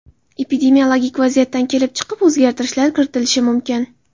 Epidemiologik vaziyatdan kelib chiqib o‘zgartirishlar kiritilishi mumkin.